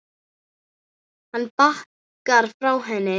Hann bakkar frá henni.